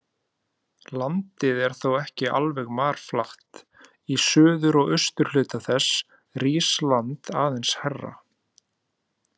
Landið er þó ekki alveg marflatt, í suður- og austurhluta þess rís land aðeins hærra.